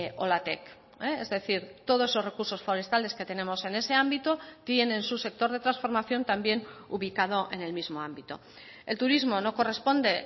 olatek es decir todos esos recursos forestales que tenemos en ese ámbito tienen su sector de transformación también ubicado en el mismo ámbito el turismo no corresponde